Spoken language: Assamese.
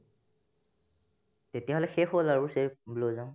তেতিয়াহ'লে শেষ হ'ল আৰু cherry blossom